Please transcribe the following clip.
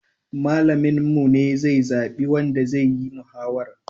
Malamin mu ne zai zaɓi wanda zayi mahawarar